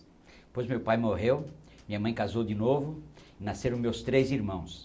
Depois meu pai morreu, minha mãe casou de novo, nasceram meus três irmãos.